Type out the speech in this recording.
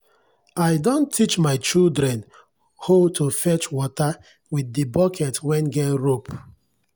i don teach my children hoe to fetch water with the bucket wen get rope.